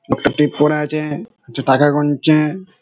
একটা টেপ পরে আছে-এ সে টাকা গুনছে-এ--